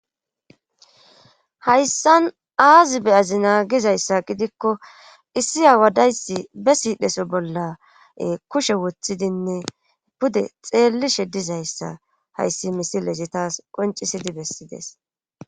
Hayssan aazi be'azina gizayssa gidikko issi aawa dayssi be siidhdhesso bolla kushe wothidinne pude xeellishshe dizayssa hayssi misilezi taas qoncisidi bessidees